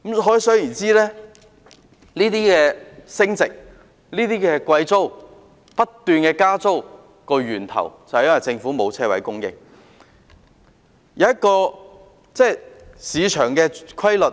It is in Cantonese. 可想而知，升值、租金貴、不斷加租的源頭，是因為政府沒有供應車位。